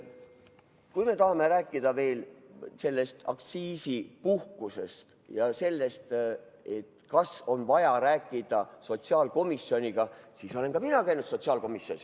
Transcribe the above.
Kui me tahame rääkida veel aktsiisipuhkusest ja sellest, kas on vaja rääkida sotsiaalkomisjoniga, siis olen ka mina käinud sotsiaalkomisjonis.